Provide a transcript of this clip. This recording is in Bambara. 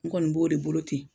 N kɔni b'o de bolo ten.